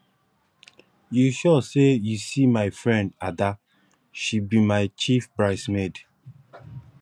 you sure say you see my friend ada she be my chief brides maid